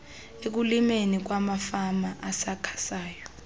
ekulimeni kwamafama asakhasayo